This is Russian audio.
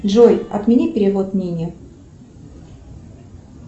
джой отмени перевод нине